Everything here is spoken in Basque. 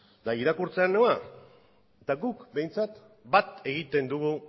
irakurtzera noa eta guk behintzat bat egiten dugu